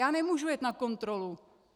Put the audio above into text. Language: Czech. Já nemůžu jet na kontrolu.